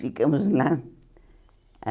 Ficamos lá.